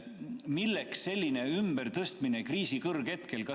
Milleks selline ümbertõstmine kriisi kõrghetkel?